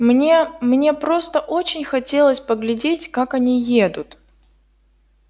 мне мне просто очень хотелось поглядеть как они едут